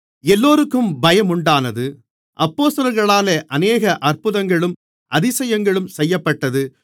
எல்லோருக்கும் பயமுண்டானது அப்போஸ்தலர்களாலே அநேக அற்புதங்களும் அதிசயங்களும் செய்யப்பட்டது